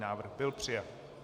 Návrh byl přijat.